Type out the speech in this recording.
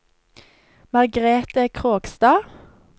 Margrete Krogstad